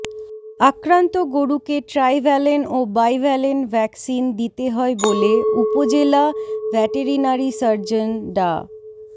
আক্রান্ত গরুকে ট্রাইভ্যালেন ও বাইভ্যালেন ভ্যাকসিন দিতে হয় বলে উপজেলা ভ্যাটেরিনারি সার্জন ডা